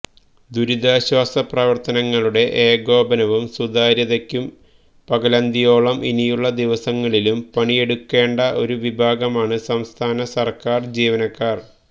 ദുരിതാശ്വാസ പ്രവര്ത്തനങ്ങളുടെ ഏകോപനവും സുതാര്യതയ്ക്കും പകലന്തിയോളം ഇനിയുള്ള ദിവസങ്ങളിലും പണിയെടുക്കേണ്ട ഒരു വിഭാഗമാണ് സംസ്ഥാന സര്ക്കാര് ജീവനക്കാര്